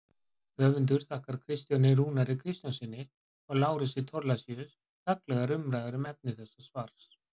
Höfundur þakkar Kristjáni Rúnari Kristjánssyni og Lárusi Thorlacius gagnlegar umræður um efni þessa svars.